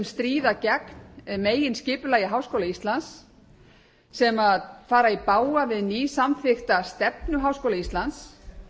stríða gegn meginskipulagi háskóla íslands sem fara í bága við nýsamþykkta stefnu háskóla íslands